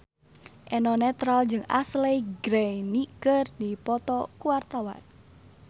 Eno Netral jeung Ashley Greene keur dipoto ku wartawan